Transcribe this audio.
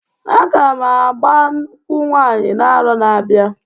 Aga m agba nkwụ nwanyị n'arọ na-abịa.